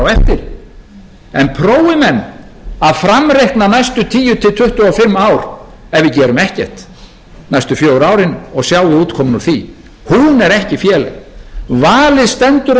eftir en prófi menn að framreikna næstu tíu til tuttugu og fimm ár ef við gerum ekkert næstu fjögur árin og sjáum útkomuna á því hún er ekki féleg valið stendur